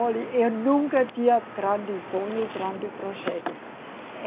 Olhe, eu nunca tinha grande sonho, grande projetos.